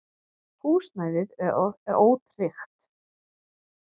Húsnæðið er ótryggt.